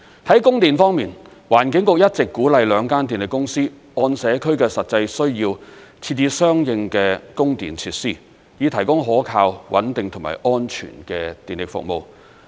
在供電方面，環境局一直鼓勵兩間電力公司按社區的實際需要，設置相應的供電設施，以提供可靠、穩定和安全的電力服務。